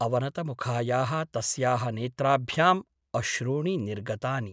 अवनतमुखायाः तस्याः नेत्राभ्याम् अश्रूणि निर्गतानि ।